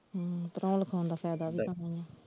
ਹਮ ਪੜ੍ਹਾਉਣ ਲਿਖਾਉਣ ਦਾ ਫਾਇਦਾ .